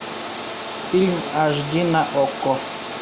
фильм аш ди на окко